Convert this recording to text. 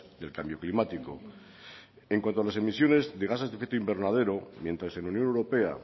del cambio climático en cuanto a las emisiones de gases de efecto invernadero mientras en la unión europea